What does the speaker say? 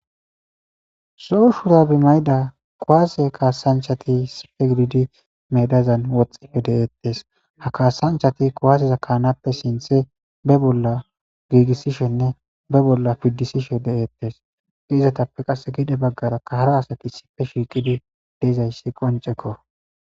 Zo'o shurabe mayida kuwase kasachati issipe gidid medazan woxishe detes ha kasachati kuwaseza ka'anape sinthe be bolla gigisishenne be bolla pidisishe detes izetape qase gede bagaraka hara asi issi shiqi dizays qoncekko